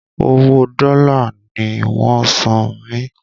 Owo dòla ní wón san mí